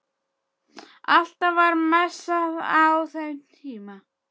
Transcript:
Alltaf var messað á þeim tíma